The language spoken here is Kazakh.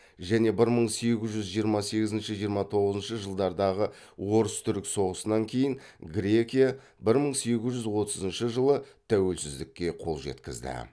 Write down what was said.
және бір мың сегіз жүз жиырма сегізінші жиырма тоғызыншы жылдардағы орыс түрік соғысынан кейін грекия бір мың сегіз жүз отызыншы жылы тәуелсіздікке қол жеткізді